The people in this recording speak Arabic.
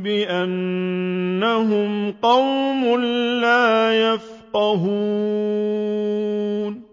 بِأَنَّهُمْ قَوْمٌ لَّا يَفْقَهُونَ